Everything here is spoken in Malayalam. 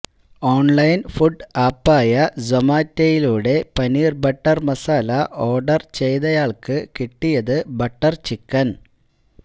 ഓണ്ലൈന് ഫുഡ് ആപ്പായ സൊമാറ്റയിലൂടെ പനീര് ബട്ടര് മസാല ഓര്ഡര് ചെയ്തയാള്ക്ക് കിട്ടിയത് ബട്ടര്ചിക്കന്